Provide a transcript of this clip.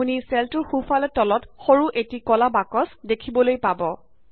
আপুনি চেলটোৰ সোঁফালে তলত সৰু এটি কলা বাকছ দেখিবলৈ পাব